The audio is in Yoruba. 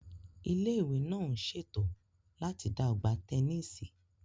Ilé ìwé náà ń ṣètò láti dá ọgbà tẹnísì